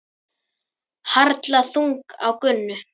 Harla þung á Gunnu.